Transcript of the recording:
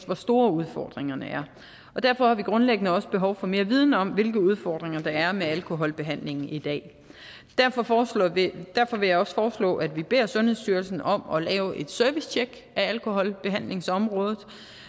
hvor store udfordringerne er og derfor har vi grundlæggende også behov for mere viden om hvilke udfordringer der er med alkoholbehandlingen i dag derfor vil derfor vil jeg også foreslå at vi beder sundhedsstyrelsen om at lave et servicetjek af alkoholbehandlingsområdet